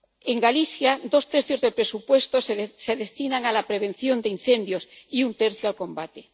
En Galicia, dos tercios del presupuesto se destinan a la prevención de incendios y un tercio al combate.